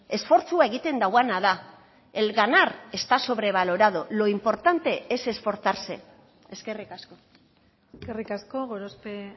esfortzua egiten duena da el ganar está sobrevalorado lo importante es esforzarse eskerrik asko eskerrik asko gorospe